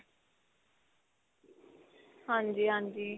ਹਾਂਜੀ ਹਾਂਜੀ.